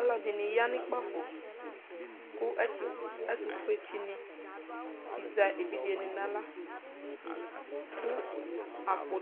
Alʋɛdi ni ya nʋ kpafo kʋ ɛtʋfue tsi ni azɛ evidze ni naɣla kʋ